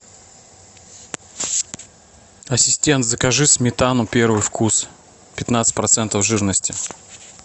ассистент закажи сметану первый вкус пятнадцать процентов жирности